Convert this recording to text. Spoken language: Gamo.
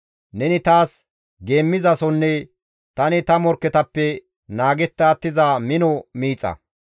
Neni taas geemmizasonne tani ta morkketappe naagetta attiza mino miixa.